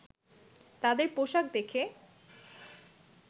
তাদের পোশাক দেখে